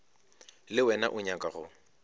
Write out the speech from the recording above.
le wena o nyaka go